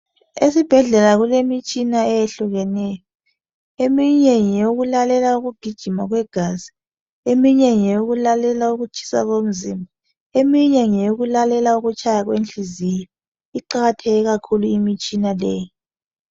Esibhedlela kulemitshina eyehlukeneyo eminye ngeyokulalela ukugijima kwegazi eminye ngeyokulalela ukutshisa komzimba eminye ngeyokulalela ukutshaya kwenhliziyo iqakathekile kakhulu imitshina leyi.